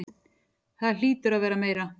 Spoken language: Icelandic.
Það hlýtur að vera meira.